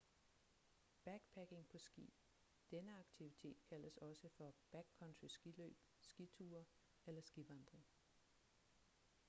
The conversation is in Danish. backpacking på ski denne aktivitet kaldes også for backcountry skiløb skiture eller skivandring